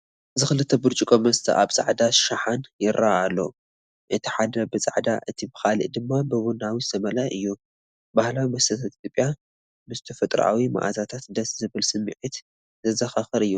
እዚ ክልተ ብርጭቆ መስተ ኣብ ጻዕዳ ሻሓነ ይረአ ኣሎ። እቲ ሓደ ብጻዕዳ እቲ ካልኣይ ድማ ብቡናዊ ዝተመልአ እዮም። ባህላዊ መስተታት ኢትዮጵያ ምስ ተፈጥሮኣዊ መኣዛታት፣ ደስ ዝብል ስምዒት ዘዘኻኽር እዩ።